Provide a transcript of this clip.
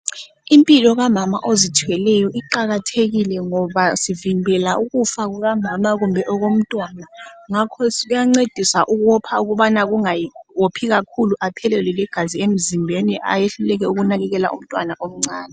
Impilo kamama ozithweleyo iqakathekile ngoba sivimbela ukufa kukamama kumbe okomntwana ngakho uyancediswa ukopha ukubana kungawophi kakhulu aphelelwe ligazi emzimbeni ayehluleleke ukunakekela umntwana omncane.